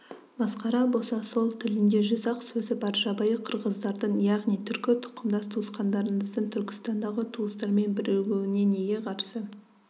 масқара болса сол тілінде жүз-ақ сөзі бар жабайы қырғыздардың яғни түркі тұқымдас туысқандарыңыздың түркістандағы туыстарымен бірігуіне неге қарсы